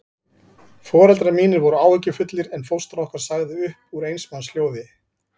Foreldrar mínir voru áhyggjufullir, en fóstra okkar sagði upp úr eins manns hljóði